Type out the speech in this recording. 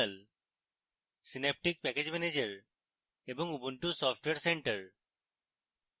synaptic package manager এবং ubuntu software center